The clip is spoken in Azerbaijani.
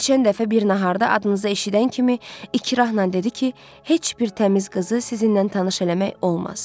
Keçən dəfə bir naharda adınızı eşidən kimi ikrahla dedi ki, heç bir təmiz qızı sizinlə tanış eləmək olmaz.